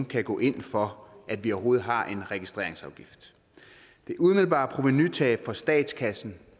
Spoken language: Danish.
kan gå ind for at vi overhovedet har en registreringsafgift det umiddelbare provenutab for statskassen